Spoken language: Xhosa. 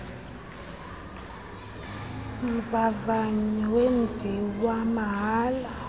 mvavanyo zenziwa mahala